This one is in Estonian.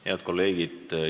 Head kolleegid!